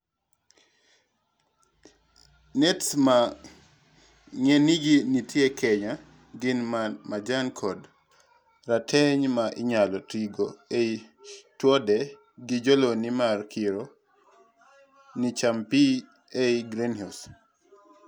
nets ma ng;enygi nitie kenya gin ma majan kod rateng', ma inyalo tigo ei townde gi jolony mar kiro ni cham pii ei greenhouse